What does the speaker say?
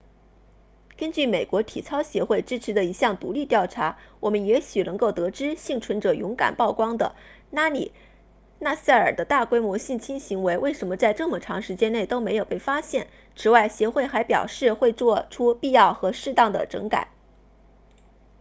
根据美国体操协会支持的一项独立调查我们也许能够得知幸存者勇敢曝光的拉里纳萨尔的大规模性侵行为为什么在这么长时间内都没有被发现此外协会还表示会做出必要和适当的整改